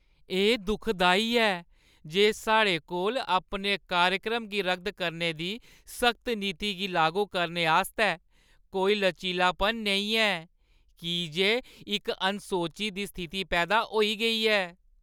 एह् दुखदाई ऐ जे साढ़े कोल अपने कार्यक्रम गी रद्द करने दी सख्त नीति गी लागू करने आस्तै कोई लचीलापन नेईं ऐ, की जे इक अनसोची दी स्थिति पैदा होई गेई ऐ।